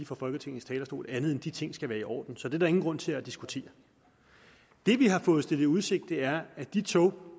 fra folketingets talerstol end at de ting skal være i orden så det er der ingen grund til at diskutere det vi har fået stillet i udsigt er at de tog